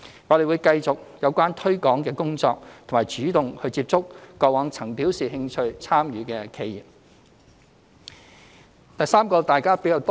我們會繼續推廣工作，並主動接觸過往曾表示有興趣參與的企業。